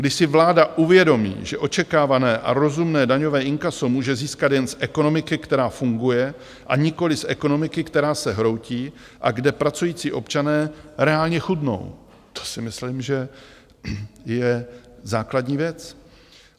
Když si vláda uvědomí, že očekávané a rozumné daňové inkaso může získat jen z ekonomiky, která funguje a nikoli z ekonomiky, která se hroutí, a kde pracující občané reálně chudnou - to si myslím, že je základní věc.